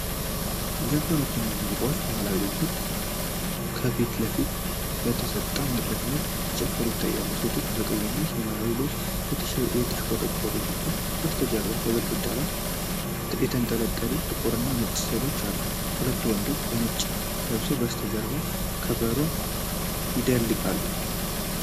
ዘፋኞችና ሙዚቀኞች ባህላዊ ልብሶችን ለብሰው ከፊት ለፊት በተሰጠ መድረክ ላይ ሲጨፍሩ ይታያሉ። ሴቶቹ በቀይና በሰማያዊ ልብስ የተሽቆጠቆጡ ሲሆን፣ ከበስተጀርባ በግድግዳው ላይ የተንጠለጠሉ ጥቁርና ነጭ ሥዕሎች አሉ። ሁለት ወንዶች በነጭ ለብሰው ከበስተጀርባ ከበሮ ይደልቃሉ።